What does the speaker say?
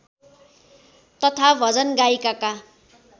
तथा भजन गायिकाका